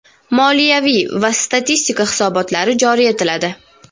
moliyaviy va statistika hisobotlari joriy etiladi;.